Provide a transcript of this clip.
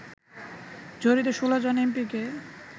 জড়িত ১৬ জন এমপিকে